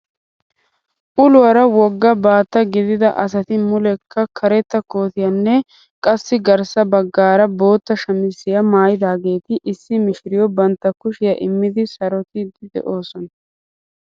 Uluwaara wogga baattaa gidida asati muleekka karetta kootiyaanne qassi garssa baggaara bootta shamisiyaa maayidaageti issi mishiriyoo bantta kushiyaa immidi sarottidi de'oosona.